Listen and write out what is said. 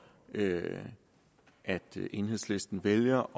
at enhedslisten vælger